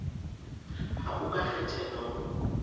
ha o ka kgethelwa ho